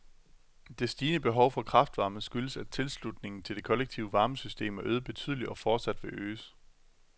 Det stigende behov for kraftvarme skyldes at tilslutningen til det kollektive varmesystem er øget betydeligt og fortsat vil øges.